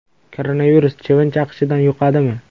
Koronavirus chivin chaqishidan yuqadimi?